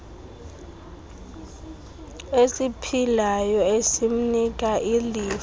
esiphilayo esimnika ilifa